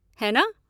है ना?